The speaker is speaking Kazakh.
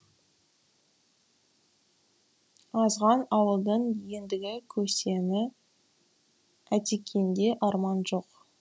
азған ауылдың ендігі көсемі атекеңде арман жоқ